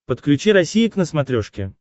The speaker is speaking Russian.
подключи россия к на смотрешке